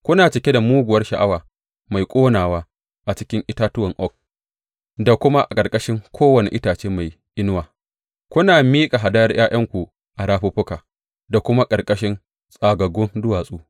Kuna cike da muguwar sha’awa mai ƙonawa a cikin itatuwan oak da kuma a ƙarƙashin kowane itace mai inuwa; kuna miƙa hadayar ’ya’yanku a rafuffuka da kuma a ƙarƙashin tsagaggun duwatsu.